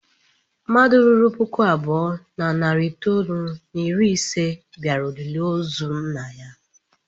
Mmadụ ruru puku abụọ na narị itoolu na iri ise bịara olili ozu nna m.